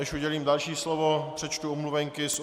Než udělím další slovo, přečtu omluvenky.